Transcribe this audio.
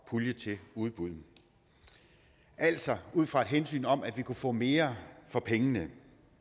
pulje til udbud altså ud fra et hensyn om at vi kunne få mere for pengene